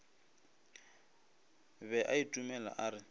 be a itumela a re